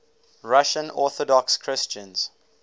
russian orthodox christians